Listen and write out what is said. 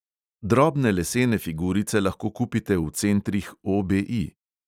Drobne lesene figurice lahko kupite v centrih OBI.